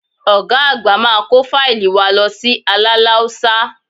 Ọ̀ga àgbà máa kó fáílì wa lọ sí Aláláúsá